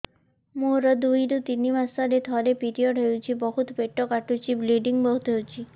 ମୋର ଦୁଇରୁ ତିନି ମାସରେ ଥରେ ପିରିଅଡ଼ ହଉଛି ବହୁତ ପେଟ କାଟୁଛି ବ୍ଲିଡ଼ିଙ୍ଗ ବହୁତ ହଉଛି